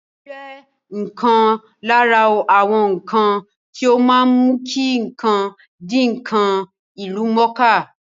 Ìròyìn jẹ́ ǹkan lára àwọn ǹkan tí ó má ń mú kí ǹkan di ǹkan ìlúmọ̀ọ́ká